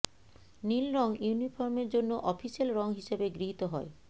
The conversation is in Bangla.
নীল রঙ ইউনিফর্মের জন্য অফিসিয়াল রঙ হিসেবে গৃহীত হয়